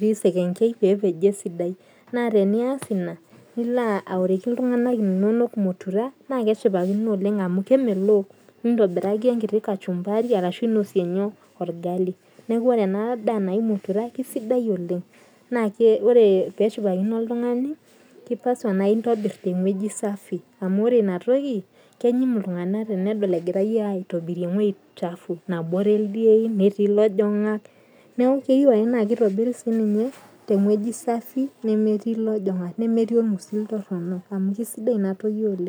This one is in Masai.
esenkei pepejo na tenias ina nilobadungoki ltunganak mutura na keshipakino oleng a mu kemelok neaku ore enadaa naji mutura na kesidai oleng na ore peshipakino oltungani na ore inatoki na kenyim ltunganak egirai aitobir amu aichafu ebori ldiam netii lajangak neaku keyieu na kitobiri tewoi safi nemetii lajingak amu kesidai inatoki oleng